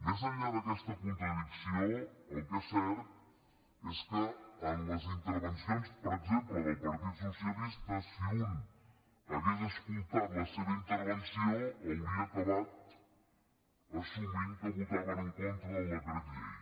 més enllà d’aquesta contradicció el que és cert és que en les intervencions per exemple del partit socialista si un hagués escoltat la seva intervenció hauria acabat assumint que votaven en contra del decret llei